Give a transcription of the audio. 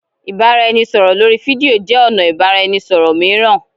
ibaraẹnisọrọ lori fidio jẹ ọna ibaraẹnisọrọ miiran.